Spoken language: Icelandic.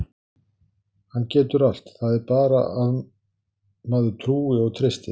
Hann getur allt, það er bara að maður trúi og treysti.